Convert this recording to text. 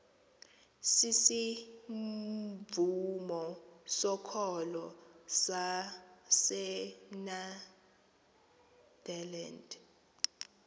sisivumo sokholo sasenederland